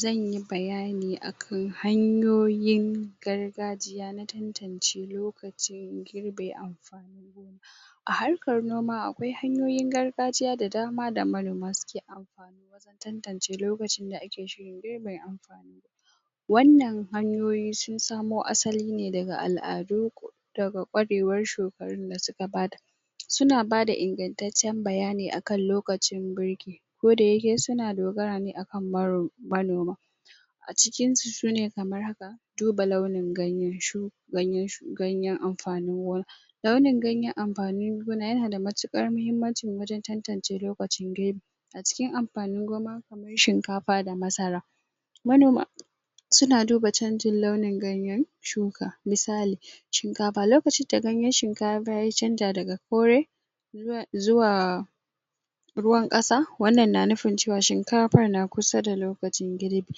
zanyi bayani akan hanyoyin gargajiya na tantance lokacin girbe amfanin gona a harkar noma akwai hanyoyin gargajiya da dama da manoma suke amfani wajen tantance lokacin da ake shirin girbe amfanin gona wannan hanyoyi sun samo asali ne daga al'adu daga ƙwarewar shekarun da suka bada suna bada ingantaccen bayani akan lokacin birki kodayake suna dogara ne akan maro manoma a cikinsu shine kamar haka duba launin ganyen shu ganyen shu ganyen amfanin gona launin ganyen amfanin gona yana da matuƙar muhimmanci wajen tantance lokacin girbi a cikin amfanin goma kamar shinkafa da masara manoma suna duba chanjin launin ganyen shuka misali shinkafa lokacin da ganyen shinkafa ya canja daga kore zuwa zuwaa ruwan ƙasa wannan na nufin cewa shinkafar na kusa da lokacin girbi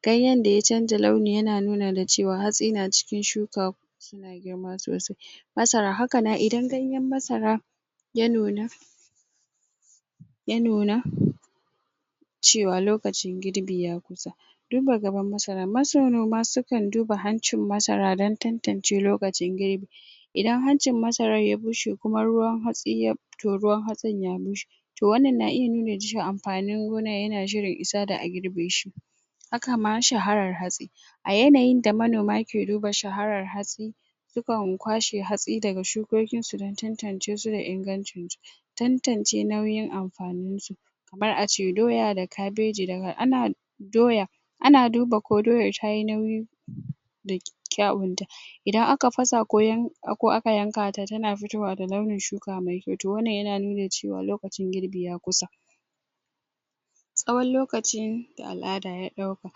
ganyen da ya chanja launi yana nuna da cewa hatsi na cikin shuka suna girma sosai masara haka na idan ganyen masara ya nuna ya nuna cewa lokacin girbi ya kusa duba gaban masara masarnoma su kan duba hancin masara don tantance lokacin girbi idan hancin masarar ya bushe kuma ruwan hatsi ya pit to ruwan hatsin ya bushe to wannan na iya nuni da cewa amfanin gona yana shirin isa da a girbeshi hakama shaharar hatsi a yanayin da manoma ke duba shaharar hatsi su kan kwashe hatsi daga shukokinsu don tantance su da ingancinsu tantance nauyin amfaninsu kamar ace doya da kabeji daga ana doya ana duba ko doyar tayi nauyi da kyawunta idan aka fasa ko yan ko aka yanka ta tana futowa da launin shuka mai kyau to wannan yana nuni da cewa lokacin girbi ya kusa tsawon lokacin da al'ada ya ɗauka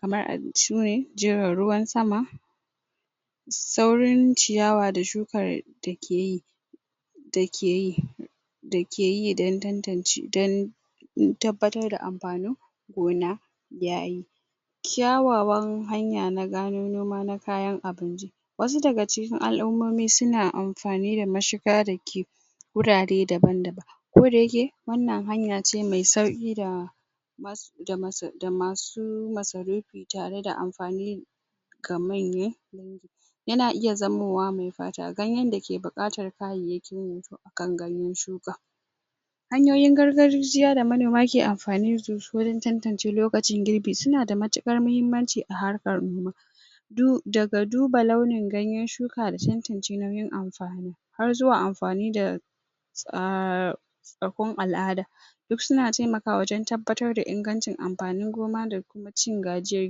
kamar a ciwe jiran ruwan sama saurin ciyawa da shukar da ke yi da ke yi da ke yi don tantance don tabbatar da amfanin gona yayi kyawawan hanya na gano noma na kayan abinci wasu daga cikin al'umomi suna amfani da mashiga da ke wurare daban daban kodayake wannan hanya ce mai sauƙi da mas da masar da masu masarufi tare da amfani kamanye yana iya zamowa mai fata ganyen dake buƙatar kayayyakin yi akan ganyen shuka hanyoyin gargarjiya da manoma ke amfani dasu wurin tantance lokacin girbi suna da matuƙar mahimmanci a harkar noma du daga duba launin ganyen shuka da tantance nauyin amfani har zuwa amfani da tsaaa rakun al'ada duk suna taimakawa wajen tabbatar da ingancin ampanin goma da cin gajiyar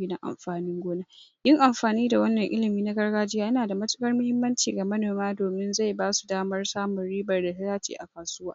gidan amfanin gona yin amfani da wannan ilimi na gargajiya yana da matuƙar mahimmanci ga manoma domin zai basu damar samun ribar da ta dace a kasuwa